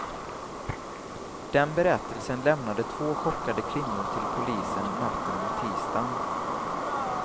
Den berättelsen lämnade två chockade kvinnor till polisen natten mot tisdagen.